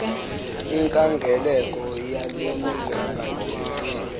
inkangeleko yalemigangatho yemfundo